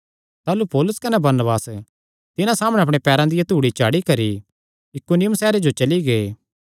ताह़लू पौलुस कने बरनबास तिन्हां सामणै अपणे पैरां दिया धूड़ी झाड़ी करी इकुनियुम सैहरे जो चली गै